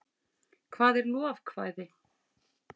hvað er lovekvæði